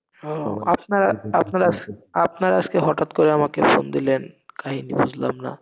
আহ আপনা~আপনার~আপনারা আজকে হঠাৎ করে আমাকে ফোন দিলেন, কারণ বুঝলাম না।